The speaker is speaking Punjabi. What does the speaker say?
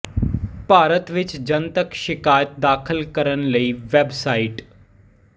ਭਾਰਤ ਵਿੱਚ ਜਨਤਕ ਸ਼ਿਕਾਇਤ ਦਾਖਲ ਕਰਨ ਲਈ ਵੈੱਬ ਸਾਈਟ